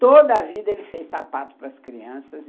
Toda a vida ele fez sapato para as crianças.